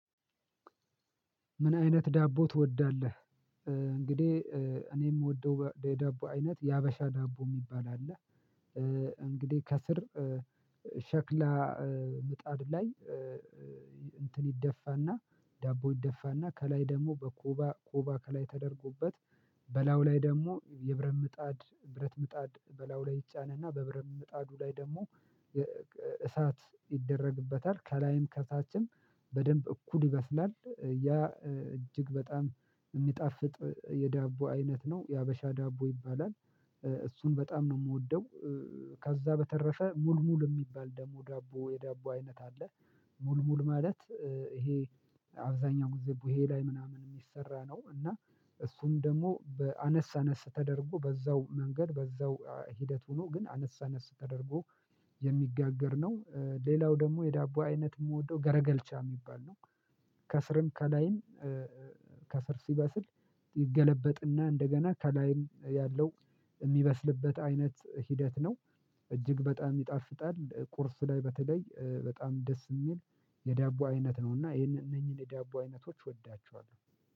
ምን አይነት ዳቦ ትወዳለህ? እንግዲህ እኔ የምወደው የዳቦ አይነት የሀበሻ ዳቦ የሚባል አለ። እንግዲህ ከስር ሸክላ ምጣድ ላይ እንትን ይደፋና ዳቦ ይደፋና ከላይ ደግሞ በኮባ ኮባ ከላይ ተደርጎበት በላዩ ላይ ደግሞ የብረት ምጣድ ብረት ምጣድ በላዩ ላይ ይጫንና በብረት ምጣዱ ላይ ደግሞ እሳት ይደረግበታል ከላይም ከታችም በደንብ እኩል ይበስላል ያ እጅግ በጣም የሚጣፍጥ የዳቦ አይነት ነው የሀበሻ ዳቦ ይባላል። እሱን በጣም ነው የምወደው። ከዛ በተረፈ ሙልሙል የሚባል ደግሞ ዳቦ የዳቦ አይነት አለ። ሙልሙል ማለት ይሄ አብዛኛው ጊዜ ቡሄ ላይ ምናምን የሚሰራ ነው እና እሱም ደግሞ በአነስ አነስ ተደርጎ በዛው መንገድ በዛው ሂደት ሆኖ ግን አነስ አነስ ተደርጎ የሚጋገር ነው። ሌላው ደግሞ የዳቦ አይነት የምወደው ገረገልቻ የሚባል ነው። ከስርም ከላይም ከስር ሲበስል ይገለበጥና እንደገና ከላይም ያለው የሚበስልበት አይነት ሂደት ነው። እጅግ በጣም ይጣፍጣል ቁርስ ላይ በተለይ በጣም ደስ የሚል የዳቦ አይነት ነውና ይሄንን እነኚህን የዳቦ አይነቶች እወዳቸዋለሁ